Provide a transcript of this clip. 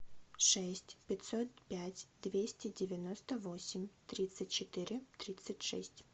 шесть пятьсот пять двести девяносто восемь тридцать четыре тридцать шесть